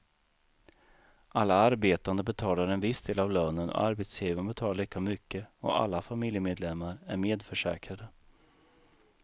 Alla arbetande betalar en viss del av lönen och arbetsgivaren betalar lika mycket och alla familjemedlemmar är medförsäkrade.